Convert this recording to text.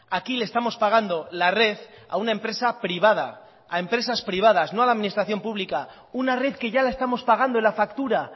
aquí le estamos pagando la red a una empresa privada a empresas privadas no a la administración pública una red que ya la estamos pagando en la factura